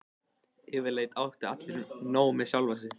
Yfirleitt áttu allir nóg með sjálfa sig.